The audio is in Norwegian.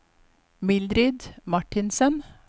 Mildrid Martinsen